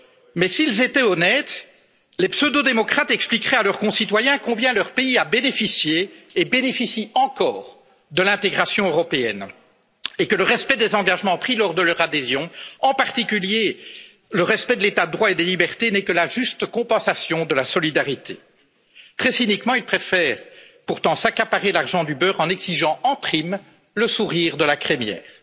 Mais s'ils étaient honnêtes, les pseudo démocrates expliqueraient à leurs concitoyens combien leur pays a bénéficié et bénéficie encore de l'intégration européenne, et que le respect des engagements pris lors de leur adhésion, à commencer par celui de l'état de droit et des libertés, n'est que la juste contrepartie de la solidarité. Très cyniquement, ils préfèrent pourtant s'accaparer l'argent du beurre en exigeant en prime le sourire de la crémière.